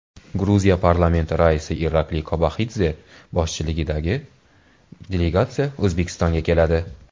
Gruziya parlamenti raisi Irakliy Kobaxidze boshchiligidagi delegatsiya O‘zbekistonga keladi.